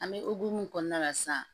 An bɛ hukumu kɔnɔna la sisan